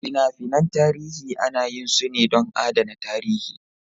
Fina-finan tarihi ana yin su ne don adana tarihi.